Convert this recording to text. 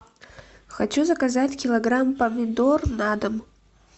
хочу заказать килограмм помидор на дом